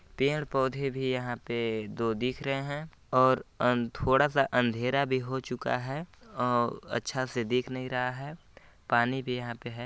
पेड़-पौधे भी यहाँ पे दो दिख रहे हें और अ थोडा सा अंधेरा भी हो चूका है अ अच्छा से दिख नहीं रहा है पानी भी यहाँ पे है।